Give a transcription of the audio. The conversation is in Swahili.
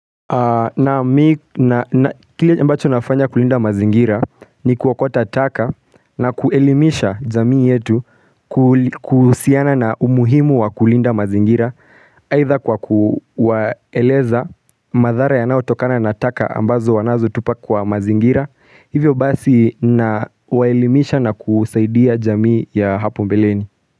Na kile ambacho nafanya kulinda mazingira ni kuokota taka na kuelimisha jamii yetu kuhusiana na umuhimu wa kulinda mazingira Haidha kwa kuwaeleza madhara yanayo tokana na taka ambazo wanazo tupa kwa mazingira Hivyo basi na waelimisha na kusaidia jamii ya hapo mbeleni.